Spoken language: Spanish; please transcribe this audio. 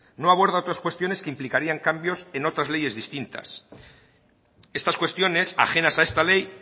no aborda otras cuestiones que implicarían cambios en otras leyes distintas estas cuestiones ajenas a esta ley